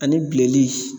Ani bileli